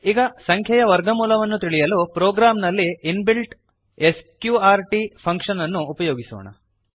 ಈಗ ಸಂಖ್ಯೆಯ ವರ್ಗಮೂಲವನ್ನು ತಿಳಿಯಲು ಪ್ರೋಗ್ರಾಮ್ ನಲ್ಲಿ ಇನ್ ಬಿಲ್ಟ್ ಸ್ಕ್ರ್ಟ್ S Q R T function ಅನ್ನು ಉಪಯೋಗಿಸೋಣ